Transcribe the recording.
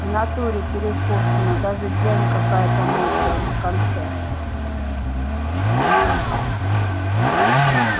в натуре перекошена даже дрянь какая-то мокрая на конце